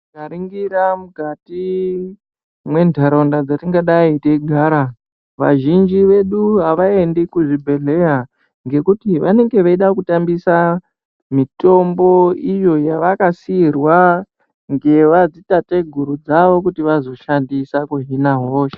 Tikaringira mukati mwentaraunda dzatingadei teigarava, vazhinji vedu havaendi kuzvibhedhleya ngekuti vanenge veida kutambisa mitombo iyo yavakasiirwa ngeva dziteteguru dzavo kuti vazohina hosha.